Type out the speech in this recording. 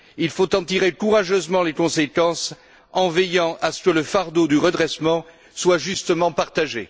Il faut en tirer courageusement les conséquences en veillant à ce que le fardeau du redressement soit justement partagé.